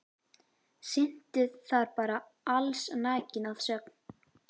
Syntu þar bara allsnakin að sögn.